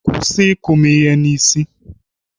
Kwụsị ịkụ m ihe n'isi!